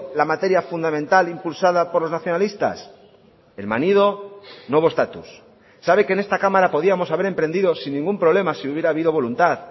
la materia fundamental impulsada por los nacionalistas el manido nuevo estatus sabe que en esta cámara podíamos haber emprendido sin ningún problema si hubiera habido voluntad